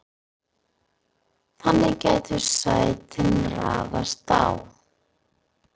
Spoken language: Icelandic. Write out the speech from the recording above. þannig gætu sætin raðast á